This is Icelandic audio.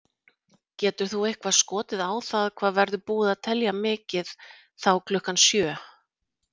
Getur þú eitthvað skotið á það hvað verður búið að telja mikið þá klukkan sjö?